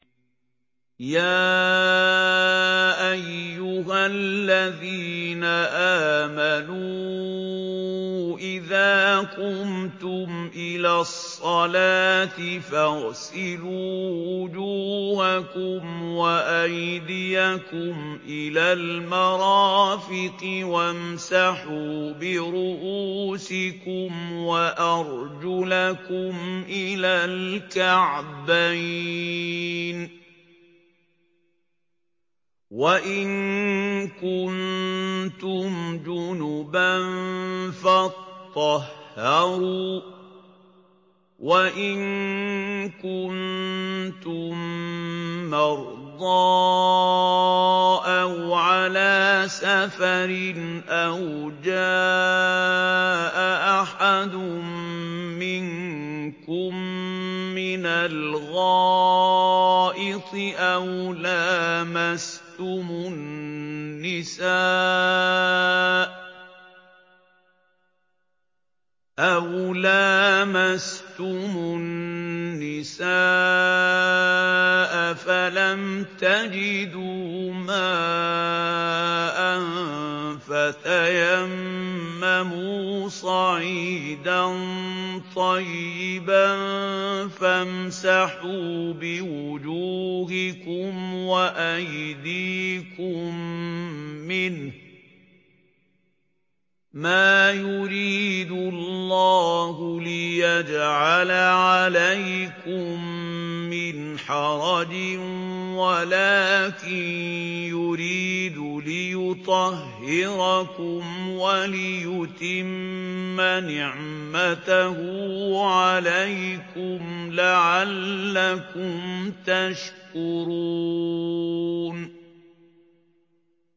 يَا أَيُّهَا الَّذِينَ آمَنُوا إِذَا قُمْتُمْ إِلَى الصَّلَاةِ فَاغْسِلُوا وُجُوهَكُمْ وَأَيْدِيَكُمْ إِلَى الْمَرَافِقِ وَامْسَحُوا بِرُءُوسِكُمْ وَأَرْجُلَكُمْ إِلَى الْكَعْبَيْنِ ۚ وَإِن كُنتُمْ جُنُبًا فَاطَّهَّرُوا ۚ وَإِن كُنتُم مَّرْضَىٰ أَوْ عَلَىٰ سَفَرٍ أَوْ جَاءَ أَحَدٌ مِّنكُم مِّنَ الْغَائِطِ أَوْ لَامَسْتُمُ النِّسَاءَ فَلَمْ تَجِدُوا مَاءً فَتَيَمَّمُوا صَعِيدًا طَيِّبًا فَامْسَحُوا بِوُجُوهِكُمْ وَأَيْدِيكُم مِّنْهُ ۚ مَا يُرِيدُ اللَّهُ لِيَجْعَلَ عَلَيْكُم مِّنْ حَرَجٍ وَلَٰكِن يُرِيدُ لِيُطَهِّرَكُمْ وَلِيُتِمَّ نِعْمَتَهُ عَلَيْكُمْ لَعَلَّكُمْ تَشْكُرُونَ